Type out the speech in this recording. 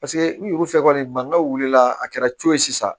Paseke n'u wusa kɔni mankanw wulila a kɛra co ye sisan